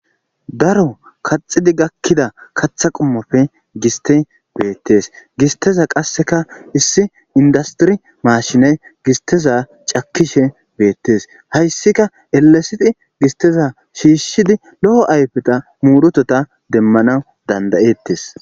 daro kaxidi gakkida katha qumoppe giste beettes gisteza qasseka issi indastiri maashinay gisteza cakishe beettees hayssika elesidi gisteza shiishshidi lo7o ayfeta muurotota demmana dandayettes